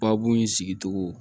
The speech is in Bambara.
Babo in sigicogo